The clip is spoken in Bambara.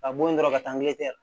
Ka bɔ yen dɔrɔn ka taa